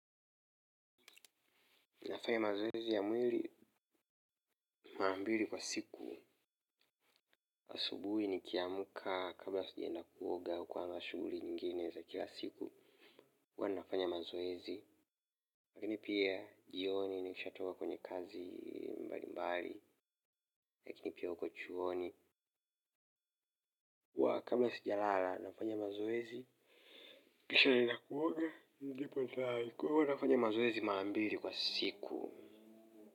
Ninafanya mazoezi ya mwili mara mbili kwa siku. Asubuhi nikiamka kabla sijaenda kuoga hukuwa na shughuli nyingine za kila siku. Huwa ninafanya mazoezi. Lakini pia jioni nikisha toka kwenye kazi mbali mbali. Lakini pia huko chuoni. Kwa kabla sijalala nafanya mazoezi, kisha naenda kuoga, hivyo huwa nafanya mazoezi mara mbili kwa siku.